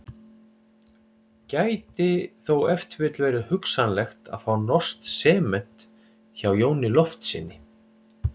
Gæti þó ef til vill verið hugsanlegt að fá norskt sement hjá Jóni Loftssyni.